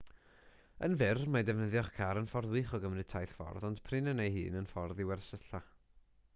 yn fyr mae defnyddio'ch car yn ffordd wych o gymryd taith ffordd ond prin yn ei hun yn ffordd i wersylla